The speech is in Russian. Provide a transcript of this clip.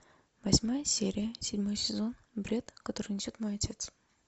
восьмая серия седьмой сезон бред который несет мой отец